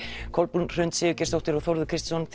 Kolbrún Hrund Sigurgeirsdóttir og Þórður Kristinsson